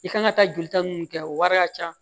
I kan ka taa jolita mun kɛ o wari ka ca